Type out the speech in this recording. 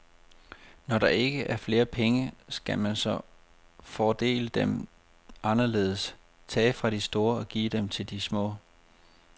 Når der ikke er flere penge, skal man så fordele dem anderledes, tage fra de store og give til de små.